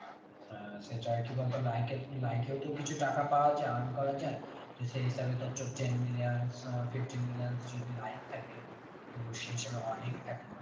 হ্যাঁ সেটাই কি বলতো like এ তো like এও তো কিছু টাকা পাওয়া যাই earn করা যাই তো সেই হিসাবে তো তোর ten millions fiftin millions যদি like থাকে তো সেই হিসাবে অনেকটা টাকা।